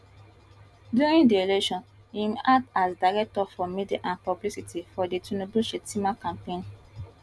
during di election im act as director for media and publicity for di tinubu shettima campaign